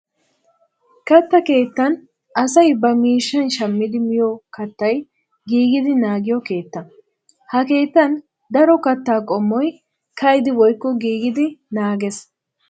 Katta keettan asay ba miishshan shammidi miyo kaattay giigidi naagiyo keettaa. Ha keettan daro kaattaa qoommoy ka'idi woykko giigidi naagees.